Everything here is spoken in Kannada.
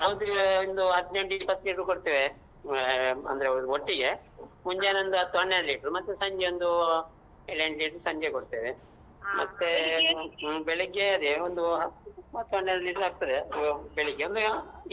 ಅದ್ ಒಂದು ಹದ್ನೇಟ್ಇಪತ್ತು liter ರು ಕೊಡ್ತೆವೆ ಆ ಅಂದ್ರೆ ಒಟ್ಟಿಗೆ ಮುಂಜಾನೆ ಒಂದೂ ಹತ್ತ್ ಹನ್ನೆರ್ಡು liter ರು ಮತ್ತೇ ಸಂಜೆ ಒಂದೂ ಏಳ್ ಎಂಟ್ liter ರು ಕೊಡ್ತೆವೆ ಬೆಳಿಗ್ಗೇ ಒಂದು ಹತ್ತ್ ಹತ್ತ್ ಹನ್ನೆರ್ಡ್ liter ಆಗ್ತದೆ ಆ ಬೆಳಿಗ್ಗೆ.